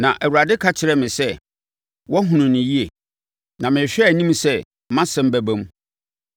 Na Awurade ka kyerɛɛ me sɛ, “Wahunu no yie, na merehwɛ anim sɛ mʼasɛm bɛba mu.”